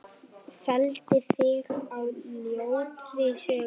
Felldi þig á ljótri sögu.